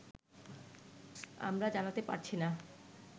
আমরা জানাতে পারছি না